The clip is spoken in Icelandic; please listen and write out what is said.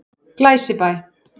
Glæsibæ